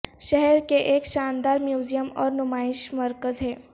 شہر کے ایک شاندار میوزیم اور نمائش مرکز ہے